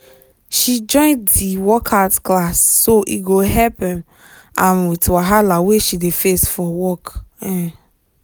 she join di workout class so e go help um am with wahala wey she dey face for work um